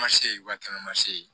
Ma se wa kɛmɛ ma se ye